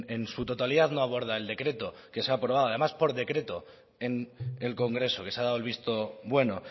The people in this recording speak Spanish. en su totalidad no aborda el decreto que se ha aprobado y además por decreto en el congreso que se ha dado el visto bueno